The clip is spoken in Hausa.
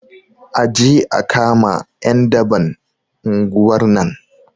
Aje a kama ƴan daban unguwar nan